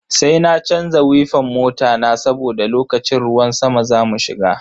Sai na canza wifan mota na saboda lokacin ruwan sama zamu shiga.